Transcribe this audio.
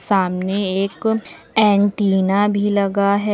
सामने एक एंटीना भी लगा है।